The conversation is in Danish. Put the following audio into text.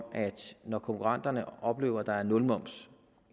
at når konkurrenterne oplever at der er nul moms